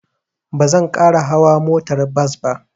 Ba zan ƙara hauwa motar bas ba.